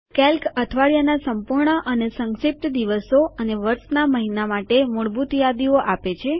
Calc અઠવાડિયાના સંપૂર્ણ અને સંક્ષિપ્ત દિવસો અને વર્ષના મહિના માટે મૂળભૂત યાદીઓ આપે છે